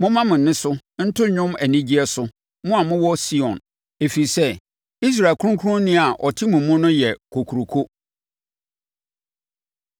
Momma mo nne so nto dwom anigyeɛ so, mo a mowɔ Sion, ɛfiri sɛ, Israel Kronkronni a ɔte mo mu no yɛ kokuroko.”